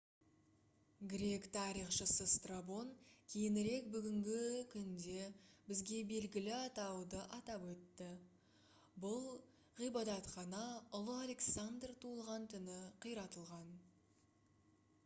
грек тарихшысы страбон кейінірек бүгінгі күнде бізге белгілі атауды атап өтті бұл ғибадатхана ұлы александр туылған түні қиратылған